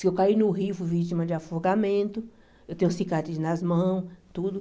Se eu caí no rio, fui vítima de afogamento, eu tenho cicatriz nas mãos, tudo.